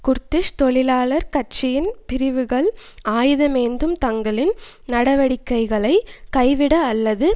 Kurdish தொழிலாளர் கட்சியின் பிரிவுகள் ஆயுதமேந்தும் தங்களின் நடவடிக்கைகளை கைவிட அல்லது